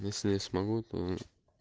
если я смогу то